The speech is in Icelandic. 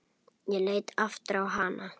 Ég leit aftur á hana.